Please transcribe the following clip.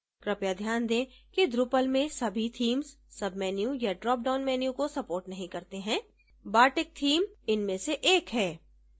कृपया ध्यान दें कि drupal में सभी themes सबमेन्यू या dropdown menus को support नहीं करते हैं bartick theme इनमें से एक है